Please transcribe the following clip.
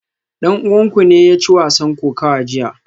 Dan uwanku ne ya ci wasan kokawa jiya?